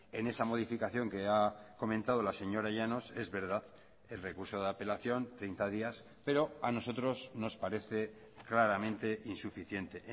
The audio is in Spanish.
en esa modificación que ha comentado la señora llanos es verdad el recurso de apelación treinta días pero a nosotros nos parece claramente insuficiente